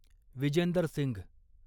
Vijender Singh